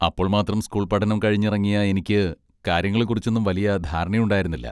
അപ്പോള്മാത്രം school പഠനം കഴിഞ്ഞിറങ്ങിയ എനിക്ക് കാര്യങ്ങളെ കുറിച്ചൊന്നും വലിയ ധാരണയുണ്ടായിരുന്നില്ല.